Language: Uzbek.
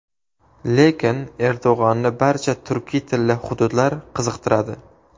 Lekin Erdo‘g‘onni barcha turkiy tilli hududlar qiziqtiradi.